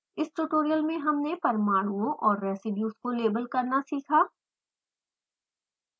इस ट्यूटोरियल में हमने परमाणुओं और residues को लेबल करना सीखा